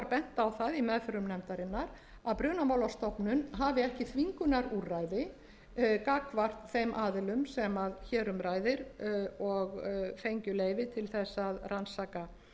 bent á það í meðförum nefndarinnar að brunamálastofnun hafi ekki þvingunarúrræði gagnvart þeim aðilum sem hér um ræðir og fengju leyfi til þess að rannsaka